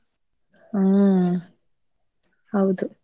ಹ್ಮ್ ಹೌದು.